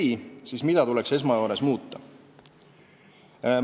Kui ei, siis mida tuleks esmajoones muuta?